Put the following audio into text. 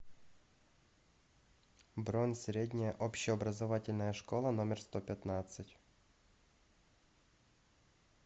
бронь средняя общеобразовательная школа номер сто пятнадцать